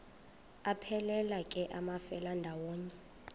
aphelela ke amafelandawonye